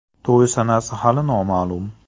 To‘y sanasi hali noma’lum.